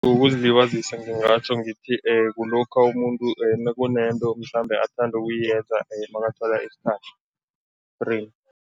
Ukuzilibazisa ngingatjho ngithi kulokha umuntu nakunento mhlambe athanda ukuyenza makathola isikhathi